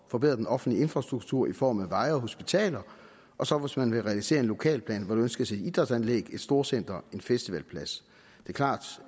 forbedre den offentlige infrastruktur i form af veje og hospitaler og så hvis man vil realisere en lokalplan hvor der ønskes et idrætsanlæg et storcenter en festivalplads det